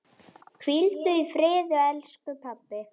Hvíldu í friði elsku pabbi.